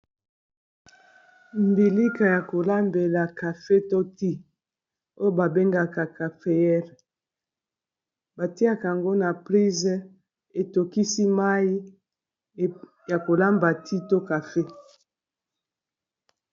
mbilika ya kolambela kafe to ti oyo babengaka cafeere batiaka yango na prise etokisi mai ya kolamba ti to kafe